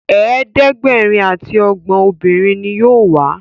ẹ̀ẹ́dẹ̀gbẹ̀rin ati ogbon obìrin ní yóò wá.